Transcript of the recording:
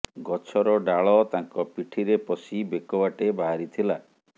ଗଛର ଡାଳ ତାଙ୍କ ପିଠିରେ ପଶି ବେକ ବାଟେ ବାହାରିଥିଲା